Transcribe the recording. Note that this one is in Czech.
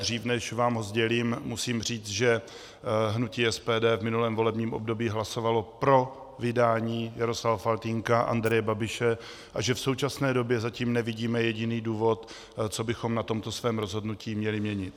Dřív než vám ho sdělím, musím říct, že hnutí SPD v minulém volebním období hlasovalo pro vydání Jaroslava Faltýnka, Andreje Babiše a že v současné době zatím nevidíme jediný důvod, co bychom na tomto svém rozhodnutí měli měnit.